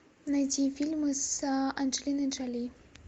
найти фильмы с анджелиной джоли